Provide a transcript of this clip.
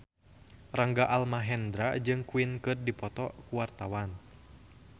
Rangga Almahendra jeung Queen keur dipoto ku wartawan